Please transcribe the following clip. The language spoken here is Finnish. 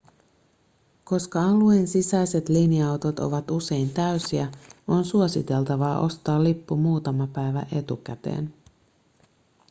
koska alueen sisäiset linja-autot ovat usein täysiä on suositeltavaa ostaa lippu muutama päivä etukäteen